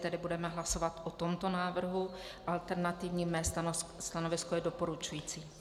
Tedy budeme hlasovat o tomto návrhu - alternativní - mé stanovisko je doporučující.